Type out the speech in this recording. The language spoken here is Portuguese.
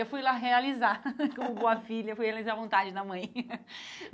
Eu fui lá realizar, como boa filha, fui realizar a vontade da mãe.